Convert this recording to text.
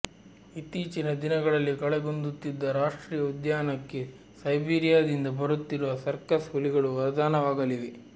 ಇತ್ತೀಚಿನ ದಿನಗಳಲ್ಲಿ ಕಳೆಗುಂದುತ್ತಿದ್ದ ರಾಷ್ಟ್ರೀಯ ಉದ್ಯಾನಕ್ಕೆ ಸೈಬೀರಿಯಾದಿಂದ ಬರುತ್ತಿರುವ ಸರ್ಕಸ್ ಹುಲಿಗಳು ವರದಾನವಾಗಲಿವೆ